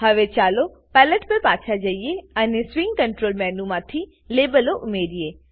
હવે ચાલો પેલેટ પર પાછા જઈએ અને સ્વીંગ કંટ્રોલ મેનુમાંથી લેબલો ઉમેરીએ